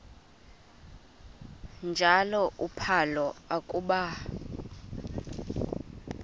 njalo uphalo akuba